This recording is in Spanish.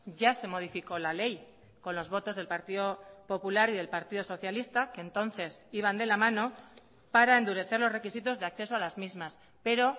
ya se modificó la ley con los votos del partido popular y del partido socialista que entonces iban de la mano para endurecer los requisitos de acceso a las mismas pero